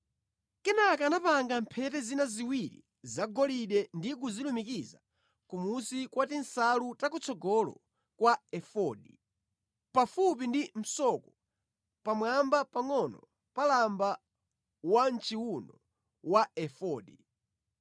Kenaka anapanga mphete zina ziwiri zagolide ndi kuzilumikiza kumunsi kwa tinsalu takutsogolo kwa efodi, pafupi ndi msoko, pamwamba pangʼono pa lamba wamʼchiwuno wa efodi.